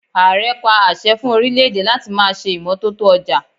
Ààre pa àṣẹ fún orílè-èdè láti ma ṣe imọtoto ọjà.